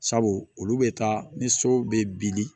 Sabu olu bɛ taa ni so bɛ bili